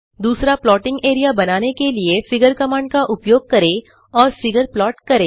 दूसरा plotting area बनाने के लिए फिगर कमांड का उपयोग करें और फिगर प्लाट करें